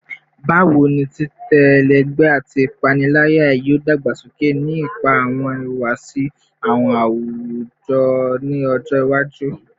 Bawo ni titẹ ẹlẹgbẹ ati ipanilaya yoo dagbasoke ni ipa awọn ihuwasi awujọ ni ọjọ iwaju?